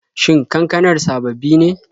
Shin kankanar sababbi ne?